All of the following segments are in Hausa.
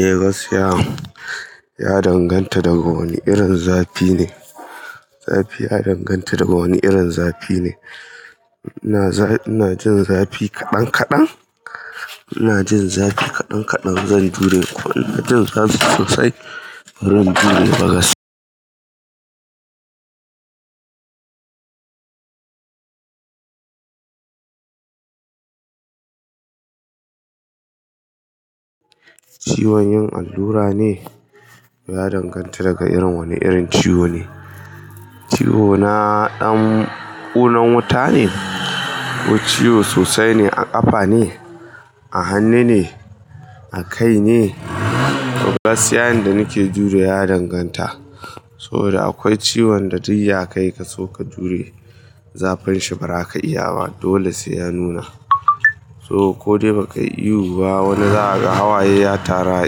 Eh gaskiya ya danganta daga wani irin zafi ne. Zafi ya danganta daga wani irin zafi ne. Ina za ina jin zafi kaɗan kaɗan. Ina jin zafi kaɗan kaɗan. Zan jure. Ko ina jin zafi sosai. Baran jure gask. Ciwon yin allura ne ya danganta daga irin wane irin ciwo ne. Ciwona ɗan ƙunan wuta ne ko ciwo sosai ne a ƙafa ne, a hannu ne, a kai ne. Gaskiya yanda nike jurewa danganta. So da akwai ciwon da duk ya kai ka so ka jure zafinshi ba za ka iya ba. Dole sai ya nuna. So ko dai ba kai ihu ba wani za ka ga hawaye ya taru a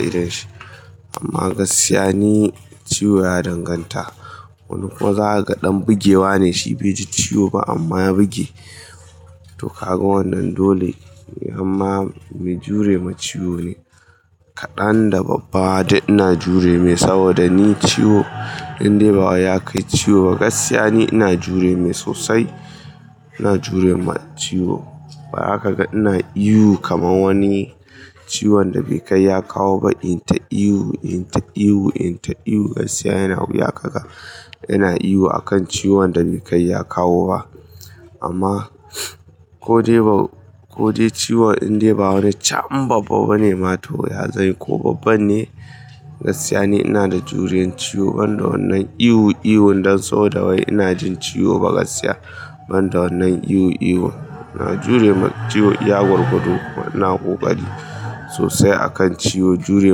idonshi. Amma gaskiya ni ciwo ya danganta. Wani kuma za a ga ɗan bugewa ne, shi bai ji ciwo ba amma ya buge. To ka ga wannan dole. Amma me jure ma ciwo ne. Kaɗan da babba dai ina jure me saboda ni ciwo in dai bawa ya kai ciwo gaskiya ni ina jure me sosai. Ina jure ma ciwo. Ba zaka kaga ina ihu kaman wani ciwon da bai kai ya kawo ba. In ta iyo, in ta iyo, in ta iyo gaskiya yana wuya ka ga. Yana ihu akan ciwon da bai kai ya kawo ba. Amma ko dai ba, ko dai ciwon in dai bawa ne cham babba bane mato ya zai yi ko babban ne gaskiya ni ina da juriyan ciwo ban da wannan ihu ihun dan saboda wai ina jin ciwo gaskiya ban da wannan ihu ihun. Ina jure ma ciwo. Ya gurguɗu kuma ina ƙoƙari sosai a kan ciwo. Jure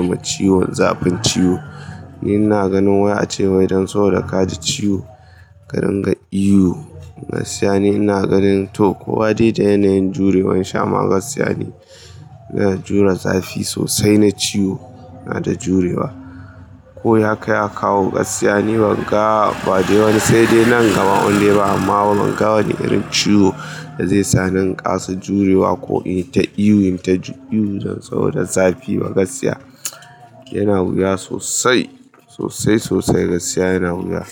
ma ciwon zafin ciwo. Ni ina ganin wai a ce wai don saboda ka ji ciwo ka dinga ihu gaskiya ni ina ganin to ko wa dai da yanayin jure wan shi amma gaskiya ni. Yana jure zafi sosai na ciwo. Ina da jurewa. Ko ya kai ya kawo gaskiya ni ban ga ba dai wani sai dai nan gaba in dai ba amma ban ga wani irin ciwo da zai sa ni ƙasa jurewa ko in yita ihu inta ihu dan saboda zafi ba gaskiya. Yana wuya sosai, sosai sosai gaskiya yana wuya.